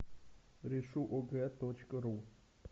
решу огэ точка ру